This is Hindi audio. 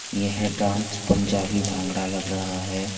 यह डांस पंजाबी भांगड़ा लग रहा है।